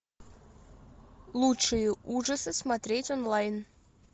лучшие ужасы смотреть онлайн